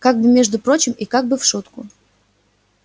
как бы между прочим и как бы в шутку